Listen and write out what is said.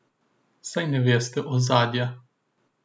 Saj ne veste ozadja.